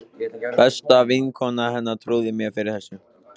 Besta vinkona hennar trúði mér fyrir þessu.